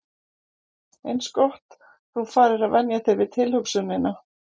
Eins gott þú farir að venja þig við tilhugsunina.